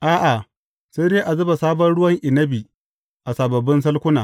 A’a, sai dai a zuba sabon ruwan inabi a sababbin salkuna.